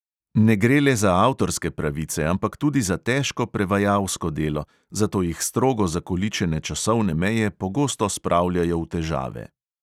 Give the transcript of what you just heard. Ne gre le za avtorske pravice, ampak tudi za težko prevajalsko delo, zato jih strogo zakoličene časovne meje pogosto spravljajo v težave.